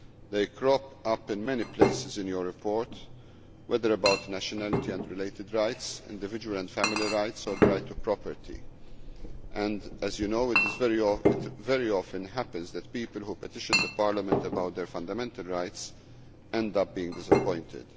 They crop up in many places in your report, whether about nationality and related rights, individual and family rights or the right of property, and as you know it very often happens that people who petition Parliament about their fundamental rights end up being disappointed.